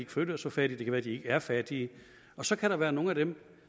føler sig fattige det kan være de ikke er fattige og så kan der være nogle af dem